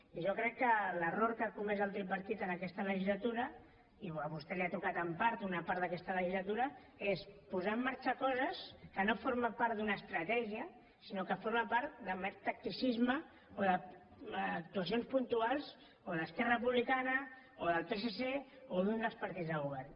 i jo crec que l’error que ha comès el tripartit en aquesta legislatura i a vostè li ha tocat en part una part d’aquesta legislatura és posar en marxa coses que no formen part d’una estratègia sinó que formen part de mer tacticisme o d’actuacions puntuals o d’esquerra republicana o del psc o d’un dels partits de govern